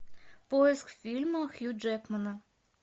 поиск фильма хью джекмана